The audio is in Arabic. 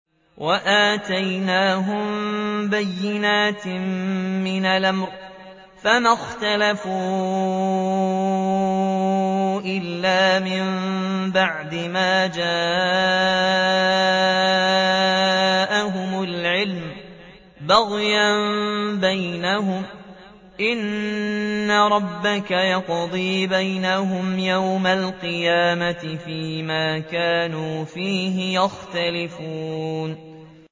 وَآتَيْنَاهُم بَيِّنَاتٍ مِّنَ الْأَمْرِ ۖ فَمَا اخْتَلَفُوا إِلَّا مِن بَعْدِ مَا جَاءَهُمُ الْعِلْمُ بَغْيًا بَيْنَهُمْ ۚ إِنَّ رَبَّكَ يَقْضِي بَيْنَهُمْ يَوْمَ الْقِيَامَةِ فِيمَا كَانُوا فِيهِ يَخْتَلِفُونَ